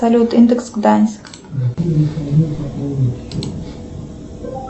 салют индекс гданьск